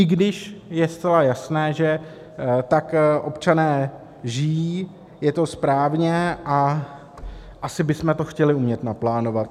I když je zcela jasné, že tak občané žijí, je to správně a asi bychom to chtěli umět naplánovat.